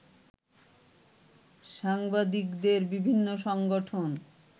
সাংবাদিকদের বিভিন্ন সংগঠন